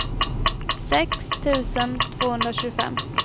sex tusen tvåhundratjugofem